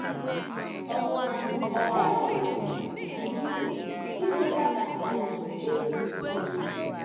Ọ̀ bụ na ọ baghịrị anyị uru ikweta na anyị erughị eru?